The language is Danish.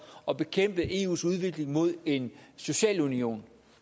at bekæmpe eus udvikling mod en social union